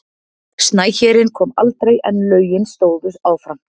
Snæhérinn kom aldrei en lögin stóðu áfram.